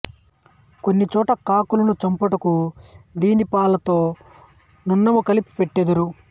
కొన్ని చోట్ల కాకులను చంపుటకు దీనిపాలతో నన్నము కలిపి పెట్టుదురు